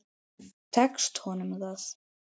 Tekst honum það?